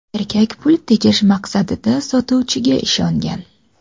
Erkak pul tejash maqsadida sotuvchiga ishongan.